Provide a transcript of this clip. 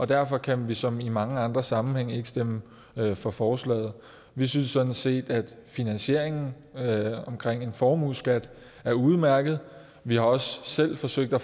derfor kan vi som i mange andre sammenhænge ikke stemme for forslaget vi synes sådan set at finansieringen fra en formueskat er udmærket vi har også selv forsøgt at